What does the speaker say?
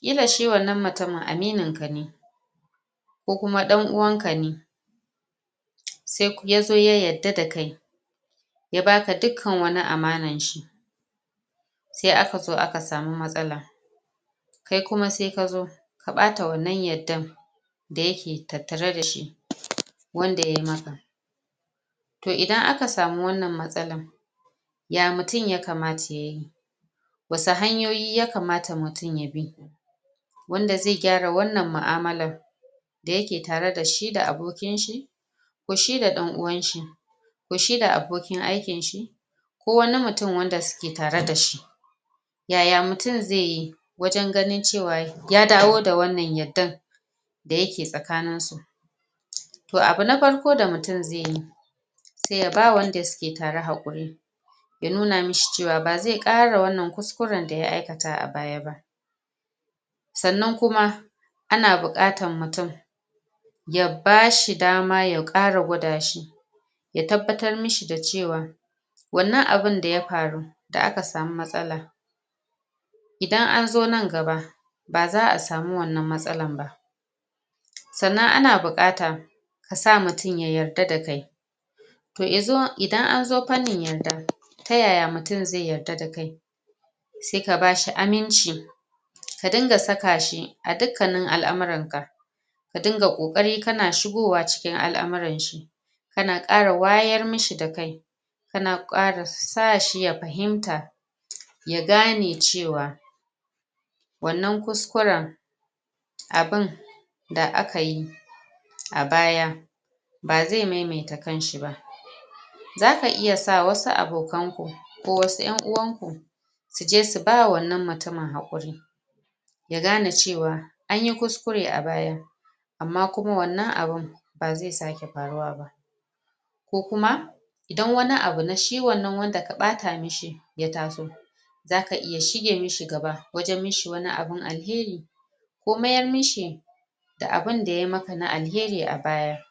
ƙila shi wannan mutumin aminin ka ne ko kuma dan uwan ka ne sai kuma yazo ya yadda da kai ya baka dukkan wani amanan shi sai akazo aka samu matsala kai kuma sai kazo ka ɓata wannan yaddan da yake tattare dashi wanda ya maka toh idan aka samu wannan matsala ya mutum ya kamata yayi wasu hanyoyi yakamata mutum ya bi wanda zai gyara wannan mu'amalan da yake tare dashi da abokin shi ko shi da dan uwan shi ko shi da abokin aikin shi ko wani mutum wanda suke tare da shi yaya mutum zai yi wajen ganin ce wa ya dawo da wannan yaddan da yake tsakanin su toh abu na farko da mutum zai yi sai ya bawa wanda suke tare hakuri ya nuna mishi cewa bazai kara wannan kusƙuren da ya aikata a baya ba sannan kuma ana buƙatan mutum ya bashi dama ya ƙara gwada shi ya tabbatar mishi da cewa wannan abun da ya faru da aka samu matsala idan an zo nan gaba baza a samu wannan matsalan ba sannan ana buƙata kasa mutum ya yarda da kai toh yanzu idan anzo fannin yarda ta yaya mutum zai yarda da kai sai ka bashi aminci ka dinga saka shi a ɗukkanin al'amuran ka ka diga kokari kana shigowa cikin al'amuran shi kana kara wayar mishi da kai kana kara sa shi ya fahimta ya gane cewa wannan kusƙuren abun da akayi a baya ba zai maimaita kanshi ba zaka iya sa wasu abokan ku ko wasu en uwan ku suje su bawa wannan mutumin hakuri ya gane cewa anyi kusƙure a baya amma kuma wannan abun bazai sake faruwa ba ko kuma idan wani abu na shi wannan wanda ka ɓata mishi ya taso zaka iya shige mishi gaba wajen mishi wani abun alheri ko ma ƴar mishi da abun da ya maka na alheri a baya